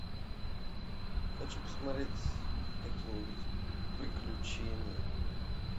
хочу посмотреть какие нибудь приключения